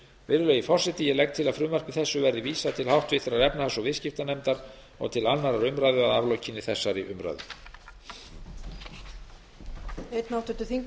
virðulegi forseti ég legg til að frumvarpi þessu verði vísað til háttvirtrar efnahags og viðskiptanefndar og til annarrar umræðu að aflokinni þessari umræðu